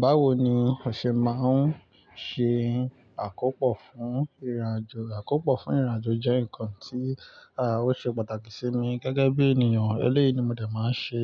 Báwo ni o ṣe máa ń ṣe àkópò fún ìrìnàjò? Àkópò fún ìrìnàjò jẹ́ ǹkan tí, à, ó ṣe pàtàkì sí mi gẹ́gẹ́ bí ènìyàn. Eléyi ni mo dẹ̀ máa ń ṣe,